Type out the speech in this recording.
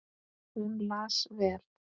Hún las vel.